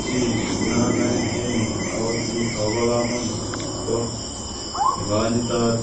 Chii nonoee en yuu akoboo komonut ko nekonyitot